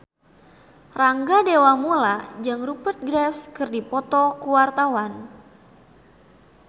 Rangga Dewamoela jeung Rupert Graves keur dipoto ku wartawan